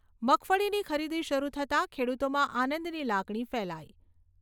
મગફળીની ખરીદી શરુ થતાં ખેડૂતોમાં આનંદની લાગણી ફેલાઈ